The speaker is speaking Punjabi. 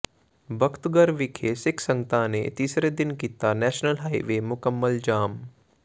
ਬਖਤਗੜ੍ਹ ਵਿਖੇ ਸਿੱਖ ਸੰਗਤਾਂ ਨੇ ਤੀਸਰੇ ਦਿਨ ਕੀਤਾ ਨੈਸ਼ਨਲ ਹਾਈਵੇ ਮੁਕੰਮਲ ਜਾਮ